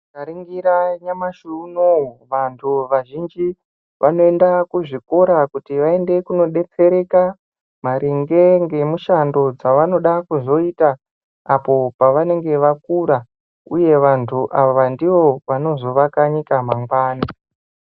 Tika ningira nyamashi unowu vantu vazhinji vanoenda ku zvikora kuti vaende kuno detsereka maringe nge mushando dzavanoda kuzoita apo pavanenge vakura uye vantu ava ndivo vanozo vaka nyika mangwani.